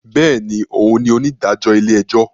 Bẹẹni, òún ní onídàájọ ilé-ẹjọ